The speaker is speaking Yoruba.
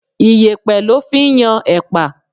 Iyepe lọ fí ń yan epa.